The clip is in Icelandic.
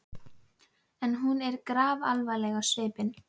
En hún var grafalvarleg á svipinn.